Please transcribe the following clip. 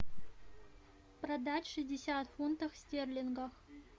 продать шестьдесят фунтов стерлингах